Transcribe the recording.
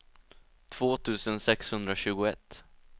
två tusen sexhundratjugoett